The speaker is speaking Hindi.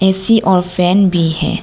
ऐ_सी और फैन भी हैं।